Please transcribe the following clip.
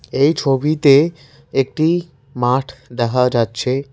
এই ছবিতে একটি মাঠ দেখা যাচ্ছে।